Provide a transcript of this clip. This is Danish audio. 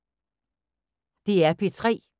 DR P3